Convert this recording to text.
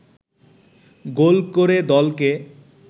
গোল করে দলকে